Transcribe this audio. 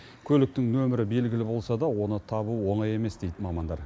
көліктің нөмірі белгілі болса да оны табу оңай емес дейді мамандар